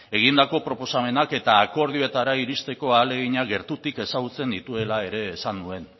egindako proposamenak eta akordioetara iristeko ahaleginak gertutik ezagutzen nituela ere esan nuen